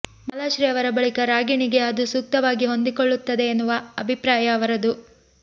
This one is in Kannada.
ಮಾಲಾಶ್ರೀ ಅವರ ಬಳಿಕ ರಾಗಿಣಿಗೆ ಅದು ಸೂಕ್ತವಾಗಿ ಹೊಂದಿಕೊಳ್ಳುತ್ತದೆ ಎನ್ನುವ ಅಭಿಪ್ರಾಯ ಅವರದು